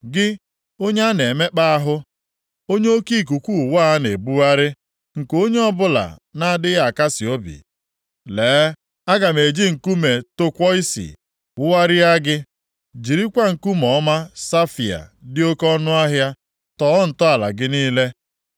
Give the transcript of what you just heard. “Gị, onye a na-emekpa ahụ, onye oke ikuku ụwa a na-ebugharị, nke onye ọbụla na-adịghị akasị obi, lee, aga m e ji nkume tọkwọisi wugharịa gị, jirikwa nkume ọma safaia dị oke ọnụahịa tọọ ntọala gị niile.